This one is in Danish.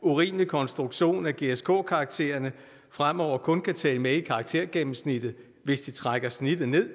urimelig konstruktion at gsk karaktererne fremover kun kan tælle med i karaktergennemsnittet hvis de trækker snittet ned